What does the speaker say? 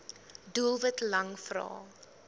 doelwit lang vrae